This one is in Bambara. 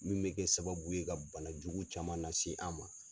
Min bɛ kɛ sababu ye ka bana jugu caman nase an ma.